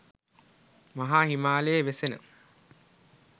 මහා හිමාලයේ වෙසෙන